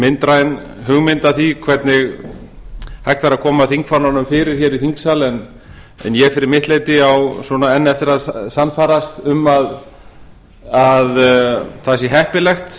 myndræn hugmynd af því hvernig hægt væri að koma þingfánanum fyrir hér í þingsal en ég fyrir mitt leyti á svona enn eftir að sannfærast um að það sé heppilegt